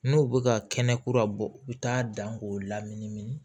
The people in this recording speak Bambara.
N'u bɛ ka kɛnɛ kura bɔ u bɛ taa dan k'u laminimini